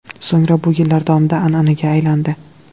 So‘ngra bu yillar davomida an’anaga aylandi.